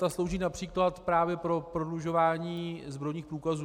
Ta slouží například právě pro prodlužování zbrojních průkazů.